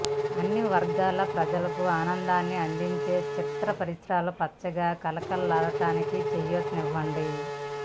అన్నివర్గాల ప్రజలకు ఆనందాన్ని అందించే చిత్ర పరిశ్రమ పచ్చగా కళకళలాడటానికి చేయూతనివ్వండి